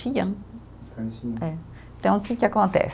É. Então que que acontece